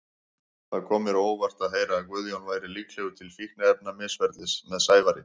Það kom mér á óvart að heyra að Guðjón væri líklegur til fíkniefnamisferlis með Sævari.